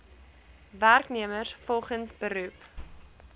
werknemers volgens beroep